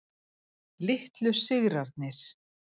Litlu sigrarnir.